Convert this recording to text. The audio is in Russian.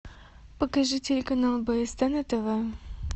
покажи телеканал бст на тв